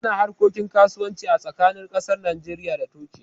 Ana harkokin kasuwanci a tsakanin ƙasar Najeriya da Turkiye